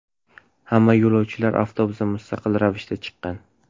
Hamma yo‘lovchilar avtobusdan mustaqil ravishda chiqqan.